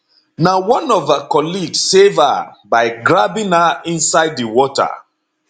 na one of her colleague save her by grabbing her inside di water